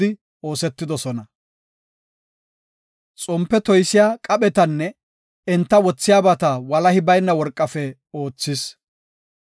Xompe wothiya kocaas laapun xompeta, xompe toysiya qaphetanne enta wothiyabata walahi bayna worqafe oothis.